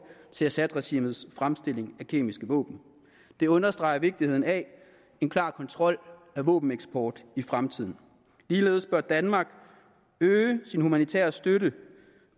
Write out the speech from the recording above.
til assadregimes fremstilling af kemiske våben det understreger vigtigheden af en klar kontrol af våbeneksport i fremtiden ligeledes bør danmark øge sin humanitære støtte